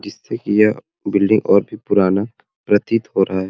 जिस से कि यह बिल्डिंग और भी पुराना प्रतीत हो रहा है।